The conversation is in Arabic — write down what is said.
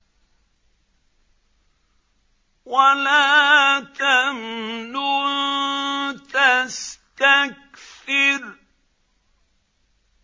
وَلَا تَمْنُن تَسْتَكْثِرُ